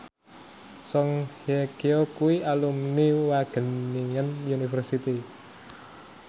Song Hye Kyo kuwi alumni Wageningen University